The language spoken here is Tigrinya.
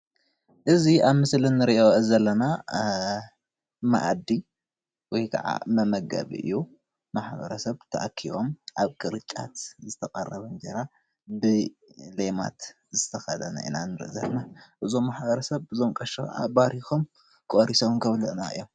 እዚ ኣብዚ ምስሊ እንሪኦ ዘለና መኣዲ ወይ ከዓ መመገቢ እዩ፣ ማሕበረሰብ ተኣኪቦም ኣብ ቅርጫት ዝተቀረበ እንጀራ ብሌማት ዝተከደነ ኢና ንርኢ ዘለና፣ እዞም ማሕበረሰብ እዞም ቀሺ ባሪኮም ቆሪሶም ከብልዑና እዮም፡፡